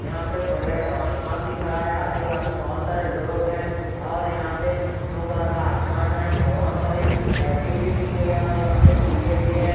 यहां पे बड़े आसमान दिख रहा है आजू बाजू बहोत सारे लोग हैं और यहां पे ब्लू कलर का आसमान है बहोत सारी लाइटिंग भी की गई और यहां पे भी है।